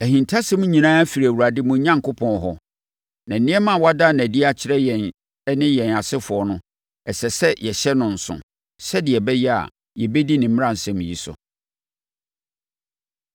Ahintasɛm nyinaa firi Awurade mo Onyankopɔn hɔ, na nneɛma a wada no adi akyerɛ yɛn ne yɛn asefoɔ no, ɛsɛ sɛ yɛhyɛ no nso, sɛdeɛ ɛbɛyɛ a, yɛbɛdi ne mmaransɛm yi so.